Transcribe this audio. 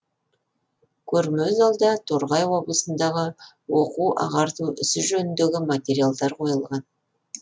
көрме залда торғай облысындағы оқу ағарту ісі жөніндегі материалдар қойылған